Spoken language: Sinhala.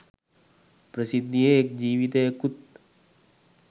ප්‍රසිද්ධියේ එක් ජීවිතයකුත්